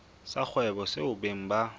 sa kgwebo seo beng ba